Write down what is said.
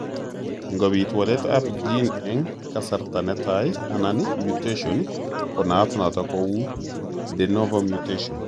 Ngobit waletab gene eng' kasarta netai anan mutation konaat notok kou de novo mutation.